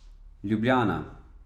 Ljubljana.